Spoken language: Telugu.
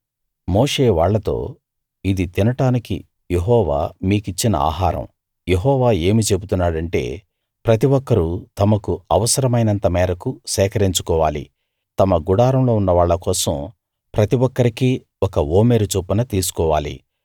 మోషే వాళ్ళతో ఇది తినడానికి యెహోవా మీకిచ్చిన ఆహారం యెహోవా ఏమి చెబుతున్నాడంటే ప్రతి ఒక్కరూ తమకు అవసరమైనంత మేరకు సేకరించుకోవాలి తమ గుడారంలో ఉన్న వాళ్ళ కోసం ప్రతి ఒక్కరికీ ఒక ఓమెరు చొప్పున తీసుకోవాలి